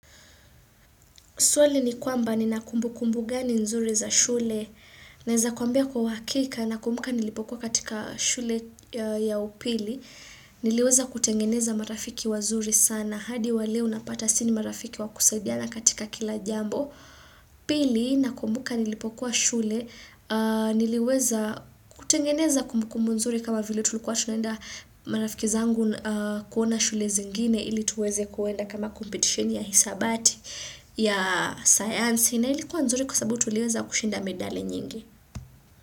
Swali ni kwamba nina kumbukumbu gani nzuri za shule. Naweza kuambia kwa uhakika nakumbuka nilipokuwa katika shule ya upili, niliweza kutengeneza marafiki wazuri sana. Hadi wale unapata sisi ni marafiki wa kusaidiana katika kila jambo. Pili, nakumbuka nilipokuwa shule. Niliweza kutengeneza kumbukumbu nzuri kama vile tulikuwa tunenda, marafiki zangu kuona shule zingine. Ili tuweze kuenda kama competition ya hisabati, ya sayansi, na ilikuwa nzuri kwa sababu tuliweza kushinda medali nyingi.